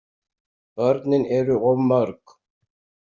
Börnin eru of mörg.